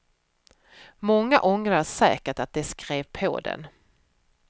Många ångrar säkert att de skrev på den.